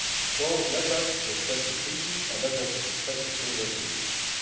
So let us respect the treaty and let us respect the framework agreements.